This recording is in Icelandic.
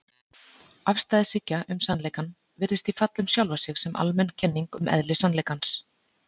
Afstæðishyggja um sannleikann virðist því falla um sjálfa sig sem almenn kenning um eðli sannleikans.